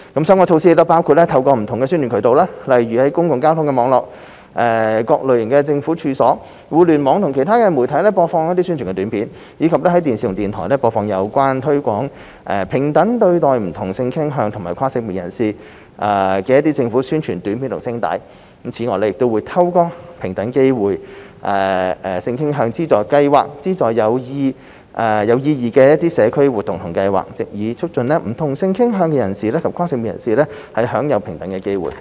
相關措施包括透過不同宣傳渠道，例如在公共交通網絡、各類政府處所、互聯網及其他媒體播放宣傳短片，以及在電視和電台播放有關推廣平等對待不同性傾向及跨性別人士的政府宣傳短片和聲帶。此外，亦會透過平等機會資助計劃資助有意義的社區活動計劃，藉以促進不同性傾向人士及跨性別人士享有平等機會。